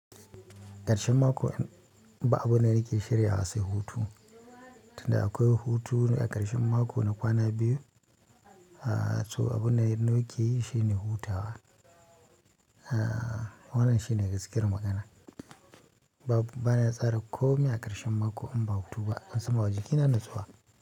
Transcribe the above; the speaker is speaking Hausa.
Karshen mako in ba abun da nake shirya wa sai hutu, tunda akwai hutune a karshen mako na kwana biyu, to abun da nake yi shine hutawa. Wannan shine gaskiyar magana. Bana tsara komai a karshen mako inba hutuba, na samawa jikina natsuwa.